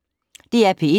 DR P1